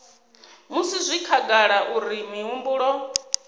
musi zwi khagala uri mihumbulo